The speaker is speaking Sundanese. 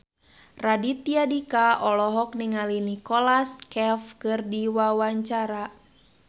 Raditya Dika olohok ningali Nicholas Cafe keur diwawancara